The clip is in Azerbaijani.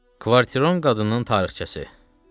Kvartiron qadının tarixçəsi.